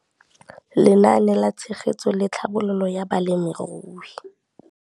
Lenaane la Tshegetso le Tlhabololo ya Balemirui